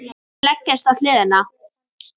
Leggst á hliðina.